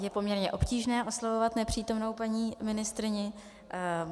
Je poměrně obtížné oslovovat nepřítomnou paní ministryni.